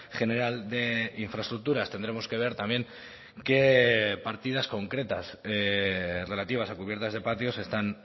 general de infraestructuras tendremos que ver también qué partidas concretas relativas a cubiertas de patios están